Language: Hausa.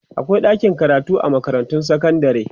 akwai ɗakin karatu a makarantun sekandare